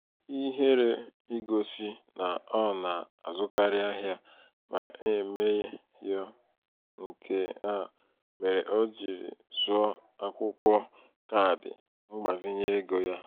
ihere igosi na ọ na-azụkarị ahịa na-eme yo nke a méré ọ jiri zoo akwụkwọ kaadị mgbazinye ego ya.